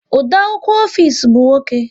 Odeakwụkwọ ofisi bụ nwoke